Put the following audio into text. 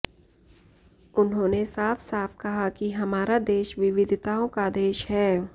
उन्होने साफसाफ कहा कि हमारा देश विविधताओं का देश है